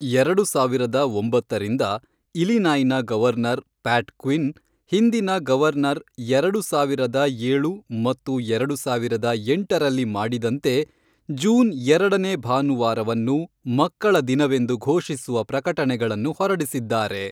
ಎರಡು ಸಾವಿರದ ಒಂಬತ್ತರಿಂದ, ಇಲಿನಾಯ್ನ ಗವರ್ನರ್ ಪ್ಯಾಟ್ ಕ್ವಿನ್, ಹಿಂದಿನ ಗವರ್ನರ್ ಎರಡು ಸಾವಿರದ ಏಳು ಮತ್ತು ಎರಡು ಸಾವಿರದ ಎಂಟರಲ್ಲಿ ಮಾಡಿದಂತೆ, ಜೂನ್ ಎರಡನೇ ಭಾನುವಾರವನ್ನು ಮಕ್ಕಳ ದಿನವೆಂದು ಘೋಷಿಸುವ ಪ್ರಕಟಣೆಗಳನ್ನು ಹೊರಡಿಸಿದ್ದಾರೆ.